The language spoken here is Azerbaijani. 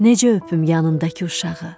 Necə öpüm yanındakı uşağı?